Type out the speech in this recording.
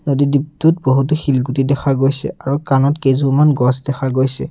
নদী দ্বিপটোত বহুতো শিলগুটি দেখা গৈছে আৰু কানত কেইজোৰমান গছ দেখা গৈছে।